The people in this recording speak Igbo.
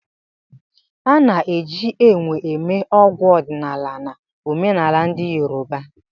A na-eji Ewe eme ọgwụ ọdịnala na omenala ndị yoruba.